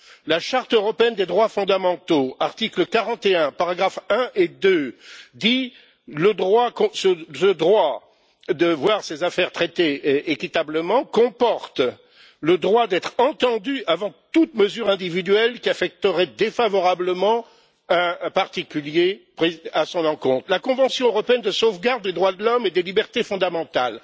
La charte européenne des droits fondamentaux, article 41, paragraphes 1 et 2, dit que toute personne a le droit de voir ses affaires traitées équitablement, ce qui comporte, entre autres, le droit de toute personne d'être entendue avant qu'une mesure individuelle qui l'affecterait défavorablement ne soit prise à son encontre. L'article 6 de la convention européenne de sauvegarde des droits de l'homme et des libertés fondamentales